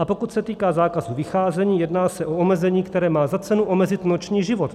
A pokud se týká zákazu vycházení, jedná se o omezení, které má za cenu omezit noční život.